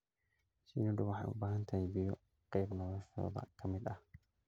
Shinnidu waxay u baahan tahay biyo qayb noloshooda ka mid ah.